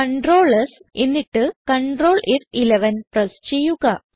ctrl S എന്നിട്ട് ctrl ഫ്11 press ചെയ്യുക